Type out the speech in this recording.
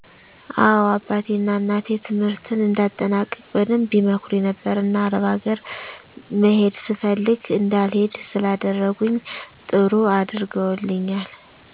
አዎ አባቴ ና እናቴ ትምህርትን እንድአጠናቅቅ በደንብ ይመክሩኝ ነበር። እና አረብ አገር መሄድ ፈልግ እንዳልሄድ ስላደረኝ ጥሩ አድርገውልኛል።